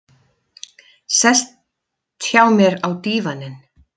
Sest hjá mér á dívaninn.